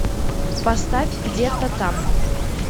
поставь где то там